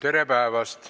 Tere päevast!